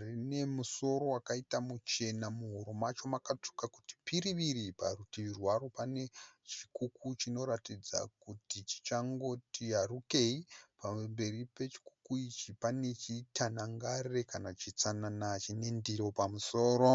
Rine musoro wakaita muchena. Muhuro macho makatsvuka kuti piriviri. Parutivi rwaro panechikuku chinoratidza kuti chichangoti yarukei. Pamberi pechikuku ichi pane chitanangare kana chitsanana chinendiro pamusoro.